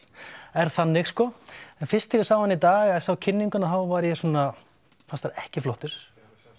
er þannig sko en fyrst þegar ég sá hann í dag eða sá kynninguna þá var ég svona fannst hann ekki flottur